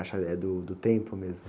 Acha que eh, é do, do tempo mesmo?